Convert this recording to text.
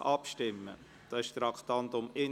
Das entspricht dem Traktandum 31.